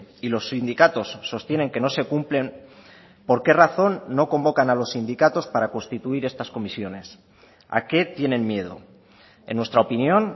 y los sindicatos sostienen que no se cumplen por qué razón no convocan a los sindicatos para constituir estas comisiones a qué tienen miedo en nuestra opinión